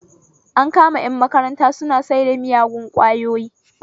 An kama ƴan makaranta suna saida miyagun ƙwayoyi